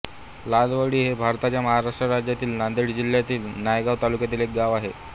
लालवंडी हे भारताच्या महाराष्ट्र राज्यातील नांदेड जिल्ह्यातील नायगाव तालुक्यातील एक गाव आहे